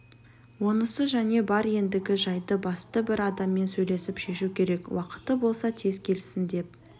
онысы және бар ендігі жайды басты бір адаммен сөйлесіп шешу керек уақыты болса тез келсін деп